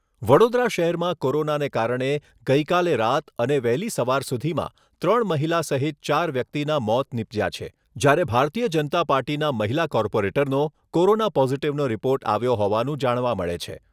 વડોદરા શહેરમાં કોરોનાને કારણે ગઈકાલે રાત અને વહેલી સવાર સુધીમાં ત્રણ મહિલા સહિત ચાર વ્યક્તિના મોત નિપજ્યા છે જ્યારે ભારતીય જનતા પાર્ટીના મહિલા કોર્પોરેટરનો કોરોના પોઝિટિવનો રિપોર્ટ આવ્યો હોવાનું જાણવા મળે છે.